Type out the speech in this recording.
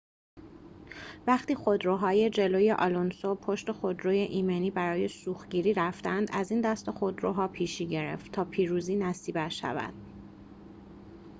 وقتی خودروهای جلوی آلونسو پشت خودروی ایمنی برای سوختگیری رفتند از این دسته خودروها پیشی گرفت تا پیروزی نصیبش شود